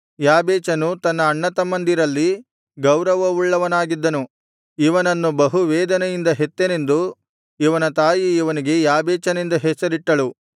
ಯಾಬೇಚನು ತನ್ನ ಅಣ್ಣತಮ್ಮಂದಿರಲ್ಲಿ ಗೌರವವುಳ್ಳವನಾಗಿದ್ದನು ಇವನನ್ನು ಬಹು ವೇದನೆಯಿಂದ ಹೆತ್ತೆನೆಂದು ಇವನ ತಾಯಿ ಇವನಿಗೆ ಯಾಬೇಚನೆಂದು ಹೆಸರಿಟ್ಟಳು